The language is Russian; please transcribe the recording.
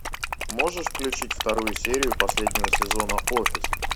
можешь включить вторую серию последнего сезона офис